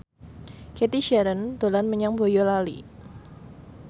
Cathy Sharon dolan menyang Boyolali